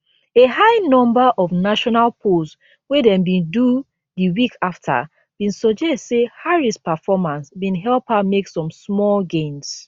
a high number of national polls wey dem bin do di week afta bin suggest say harris performance bin help her make some small gains